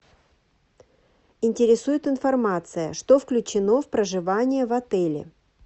интересует информация что включено в проживание в отеле